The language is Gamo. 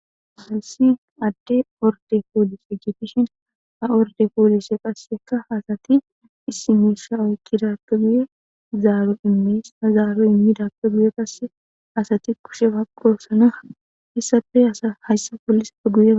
Hayisi aadeyi oridde polise ggidishini ha oridde poliseyi qassi assati mishayi okidabeppe zaro imidape guye baggani assati kushe baqosona.